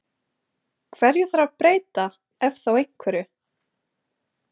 Hverju þarf að breyta ef þá einhverju?